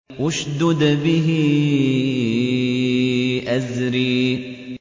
اشْدُدْ بِهِ أَزْرِي